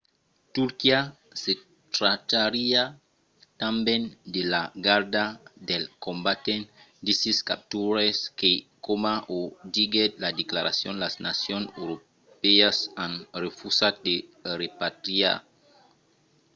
turquia se trachariá tanben de la garda dels combatents d’isis capturats que coma o diguèt la declaracion las nacions europèas an refusat de repatriar